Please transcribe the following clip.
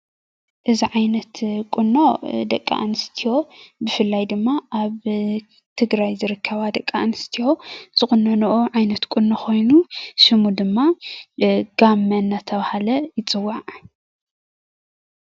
እዚ ዓይነት ቁኖ ደቂ ኣንስትዮ ብፍላይ ድማ ኣብ ትግራይ ዝርከባ ደቂ ኣንስትዮ ዝቑነኑንኡ ዓይነት ቁኖ ኮይኑ ስሙ ድማ ጋመ እናተባህለ ይፅዋዕ።